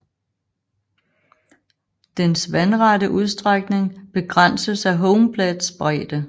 Dens vandrette udstrækning begrænses af home plates bredde